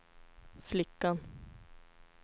flickan